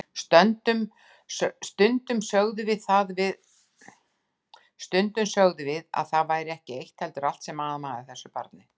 Stundum sögðum við að það væri ekki eitt heldur allt sem amaði að þessu barni.